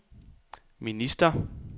minister